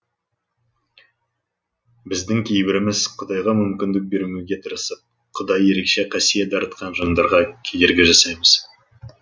біздің кейбіріміз құдайға мүмкіндік бермеуге тырысып құдай ерекше қасиет дарытқан жандарға кедергі жасаймыз